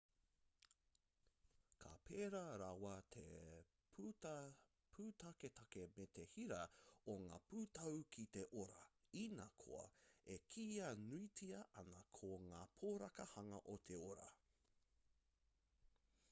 ka pērā rawa te pūtaketake me te hira o ngā pūtau ki te ora inā koa e kīia nuitia ana ko ngā poraka hanga o te ora